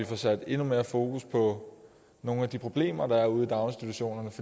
får sat endnu mere fokus på nogle af de problemer der er ude i daginstitutionerne